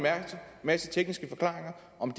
masse tekniske forklaringer om